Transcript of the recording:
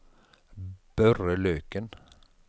Børre Løken